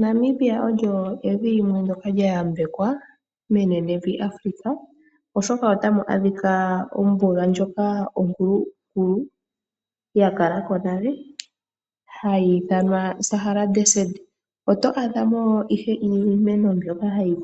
Namibia olyo evi limwe lyayambekwa menenevi Afrika oshoka otamu adhika ombuga ndjoka onkulukulu, yakala ko nale, ndjoka hayi ithanwa Namib Desert ohamu koko iimeno mbyoka hayi